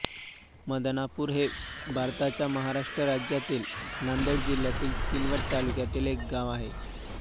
मदनापूर हे भारताच्या महाराष्ट्र राज्यातील नांदेड जिल्ह्यातील किनवट तालुक्यातील एक गाव आहे